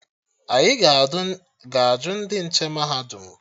Anyị ga-ajụ ndị nche mahadum